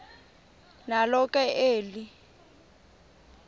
nalo ke eli